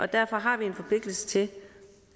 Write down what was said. derfor har vi en forpligtelse til